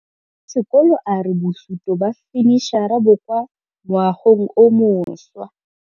Mogokgo wa sekolo a re bosutô ba fanitšhara bo kwa moagong o mošwa.